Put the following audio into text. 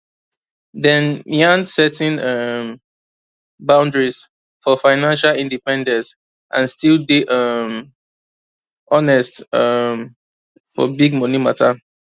dem yan setting um boundaries for financial independence and still day um honest um for big money matter